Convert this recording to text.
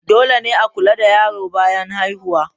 Dole ne a kula da yaro bayan haihuwa.